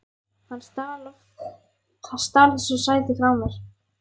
Hann stal þessu sæti frá mér!